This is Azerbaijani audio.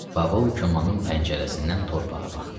Babul komanın pəncərəsindən torpağa baxdı.